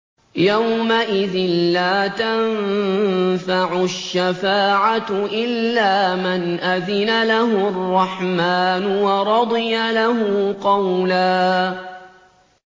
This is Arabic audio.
يَوْمَئِذٍ لَّا تَنفَعُ الشَّفَاعَةُ إِلَّا مَنْ أَذِنَ لَهُ الرَّحْمَٰنُ وَرَضِيَ لَهُ قَوْلًا